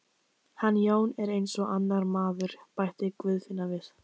Hann Jón er eins og annar maður, bætti Guðfinna við.